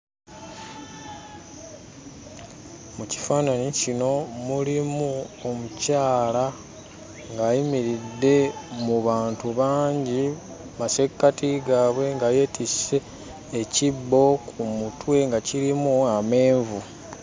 Mu kifaananyi kino mulimu omukyala ng'ayimiridde mu bantu bangi mu masekkati gaabwe nga yeetisse ekibbo ku mutwe nga kirimu amenvu.